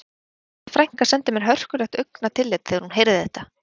Besta frænka sendi mér hörkulegt augnatillit þegar hún heyrði þetta